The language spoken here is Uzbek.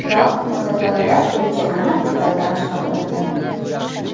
Biroq, muzokaralar bo‘yicha aniq detallar oshkor qilinmayapti.